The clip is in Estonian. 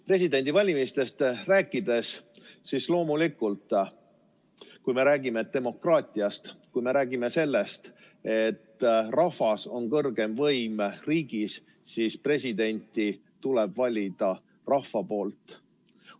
Presidendivalimistest rääkides on loomulikult nii, et kui me räägime demokraatiast, kui me räägime sellest, et rahvas on riigi kõrgeim võim, siis presidenti tuleb valida rahval.